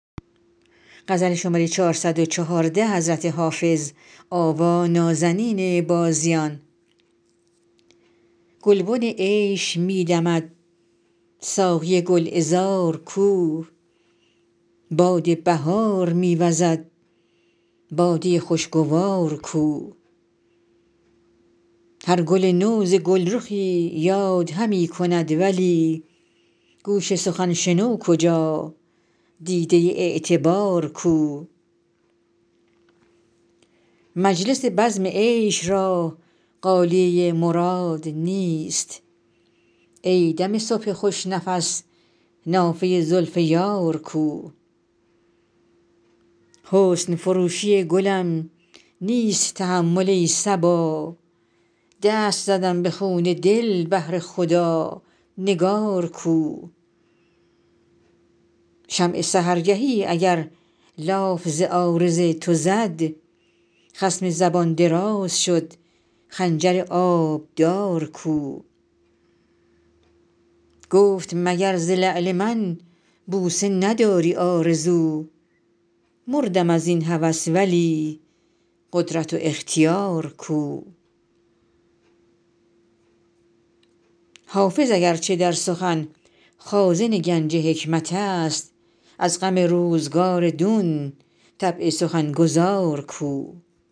گلبن عیش می دمد ساقی گل عذار کو باد بهار می وزد باده خوش گوار کو هر گل نو ز گل رخی یاد همی کند ولی گوش سخن شنو کجا دیده اعتبار کو مجلس بزم عیش را غالیه مراد نیست ای دم صبح خوش نفس نافه زلف یار کو حسن فروشی گلم نیست تحمل ای صبا دست زدم به خون دل بهر خدا نگار کو شمع سحرگهی اگر لاف ز عارض تو زد خصم زبان دراز شد خنجر آبدار کو گفت مگر ز لعل من بوسه نداری آرزو مردم از این هوس ولی قدرت و اختیار کو حافظ اگر چه در سخن خازن گنج حکمت است از غم روزگار دون طبع سخن گزار کو